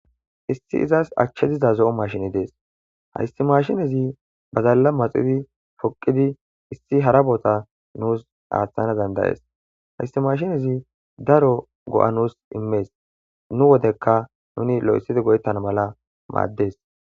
Isso izas achey diza zo'o mashiney dees haysi mashinezi badala maxidi poqidi issi hara boota nus aathana dan'da'es haysi mashinezi daro go'a nus immes nu wodeka nuni loythidi go'etana mala maades.